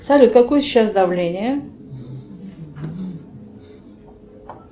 салют какое сейчас давление